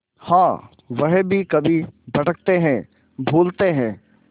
हाँ वह भी कभी भटकते हैं भूलते हैं